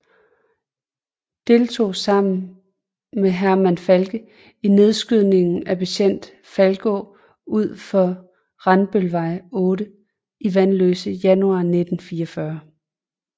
Deltog sammen med Hermann Falke i nedskydningen af betjent Falkenaa ud for Randbølvej 8 i Vanløse januar 1944